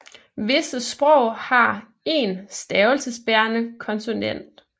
Visse sprog har én stavelsesbærende konsonant